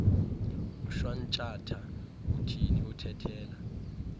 ushwantshatha uthini uthethela